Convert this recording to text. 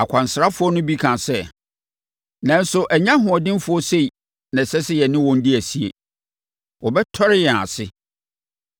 Akwansrafoɔ no bi kaa sɛ, “Nanso ɛnyɛ ahoɔdenfoɔ sei na ɛsɛ sɛ yɛne wɔn di asie. Wɔbɛtɔre yɛn ase!”